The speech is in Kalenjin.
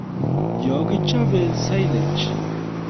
Yokichobei silage;